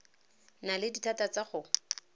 na le dithata tsa go